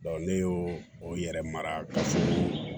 ne y'o o yɛrɛ mara ka fɔ